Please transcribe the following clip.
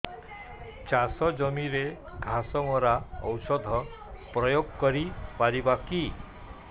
ଚାଷ ଜମିରେ ଘାସ ମରା ଔଷଧ ପ୍ରୟୋଗ କରି ପାରିବା କି